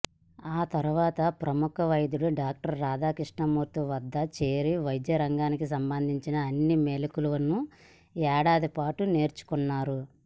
ఆ తరువాత ప్రముఖ వైద్యుడు డాక్టర్ రాధాకృష్ణమూర్తి వద్ద చేరి వైద్యరంగానికి సంబంధించిన అన్ని మెళకువలను ఏడాదిపాటు నేర్చుకున్నారు